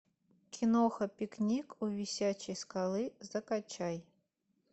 киноха пикник у висячей скалы закачай